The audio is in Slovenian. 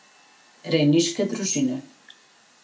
Rejniške družine.